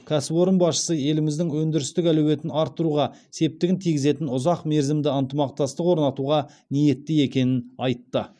кәсіпорын басшысы еліміздің өндірістік әлеуетін арттыруға септігін тигізетін ұзақ мерзімді ынтымақтастық орнатуға ниетті екенін айтты